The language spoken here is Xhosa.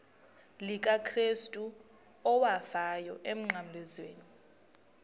likakrestu owafayo emnqamlezweni